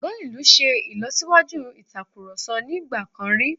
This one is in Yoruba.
Gbọ̀ngàn ìlú ṣe ìlọ́síwájú ìatkurọ̀sọ ní ìgbà kan rí..